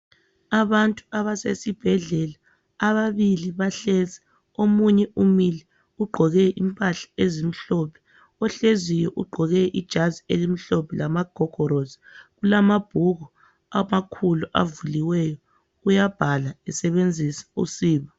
Abantu abasesibhedlela ababili bahlezi omunye umile ugqoke impahla ezimhlophe. Ohleziyo ugqoke ijazi elimhlophe lamagogorosi ulamabhuku amakhulu avuliweyo uyabhala esebenzisa usiba.